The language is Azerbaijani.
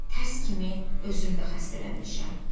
Tərs kimi özüm də xəstələnmişəm.